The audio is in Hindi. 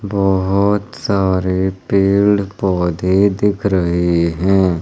बोहोत सारे पेड़ पौधे दिख रहे हैं।